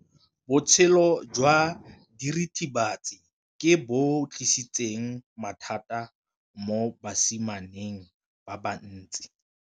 Botshelo jwa diritibatsi ke bo tlisitse mathata mo basimaneng ba bantsi.